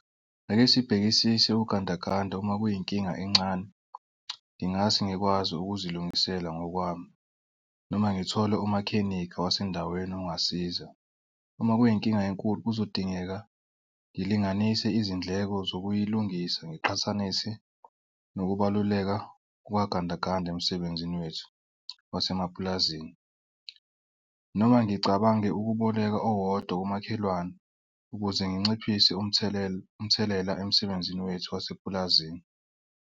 Ake sibhekisise ugandaganda uma kuyinkinga encane, ngingase ngikwazi ukuzilungisela ngokwami noma ngithole umakhenikha wasendaweni ongasiza. Uma kuyinkinga enkulu kuzodingeka ngilinganise izindleko zokuyilungisa. Ngiqhathanise nokubaluleka kukagandaganda emsebenzini wethu wasemapulazini. Noma ngicabange ukuboleka owodwa kumakhelwane ukuze nginciphise umthelela umthelela emsebenzini wethu wasepulazini.